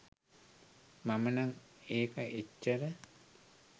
මම නම් ඒක එච්චර